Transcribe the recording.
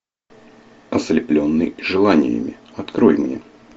ослепленный желаниями открой мне